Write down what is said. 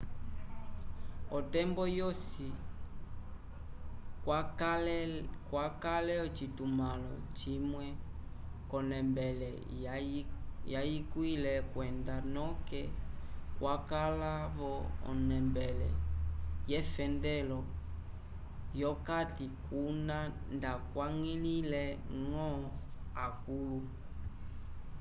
otembo yosi kwakale ocitumãlo cimwe c'onembele yayikwile kwenda noke kwakala vo onembele yefendelo v'okati kuna ndakwañgilile-ñgo akũlu